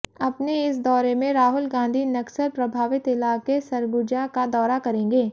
अपने इस दौरे में राहुल गांधी नक्सल प्रभावित इलाके सरगुजा का दौरा करेंगे